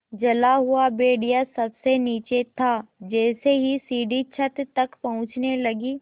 जला हुआ भेड़िया सबसे नीचे था जैसे ही सीढ़ी छत तक पहुँचने लगी